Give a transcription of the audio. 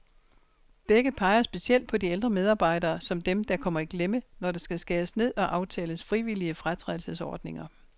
Begge peger specielt på de ældre medarbejdere, som dem, der kommer i klemme, når der skal skæres ned og aftales frivillige fratrædelsesordninger.